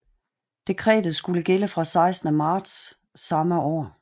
Dekretet skulle gælde fra 16 marts samme år